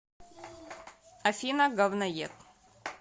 афина говноед